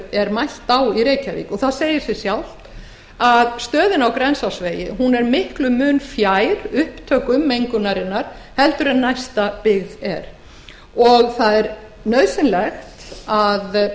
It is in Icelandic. er mælt á í reykjavík það segir sig sjálft að stöðin á grensásvegi er miklum mun fjær upptökum mengunarinnar en næsta byggð er og það er nauðsynlegt að